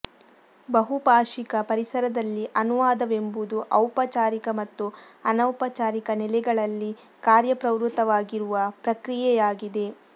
ಬಹುಭಾಷಿಕ ಪರಿಸರದಲ್ಲಿ ಅನುವಾದವೆಂಬುದು ಔಪಚಾರಿಕ ಮತ್ತು ಅನೌಪಚಾರಿಕ ನೆಲೆಗಳಲ್ಲಿ ಕಾರ್ಯಪ್ರವೃತ್ತವಾಗಿರುವ ಪ್ರಕ್ರಿಯೆಯಾಗಿದೆ